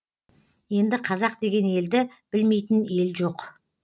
енді қазақ деген елді білмейтін ел жоқ